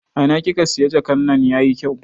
A ina kika siya jakan nan yayi kyau?